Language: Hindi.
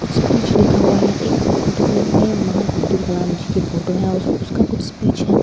कुछ स्पीच लिखा हुआ है एक इस फोटो फ्रेम में महान अब्दुल कलाम जी की फोटो है उसका कुछ स्पीच है एक --